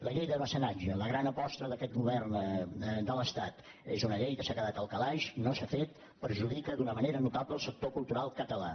la llei de mecenatge la gran aposta d’aquest govern de l’estat és una llei que s’ha quedat al calaix no s’ha fet perjudica d’una manera notable el sector cultural català